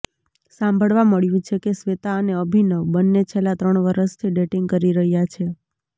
સાંભળવા મળ્યું છે કે શ્વેતા અને અભિનવ બંને છેલ્લા ત્રણ વરસથી ડેટિંગ કરી રહ્યાં છે